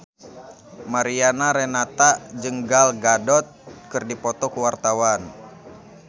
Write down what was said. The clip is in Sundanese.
Mariana Renata jeung Gal Gadot keur dipoto ku wartawan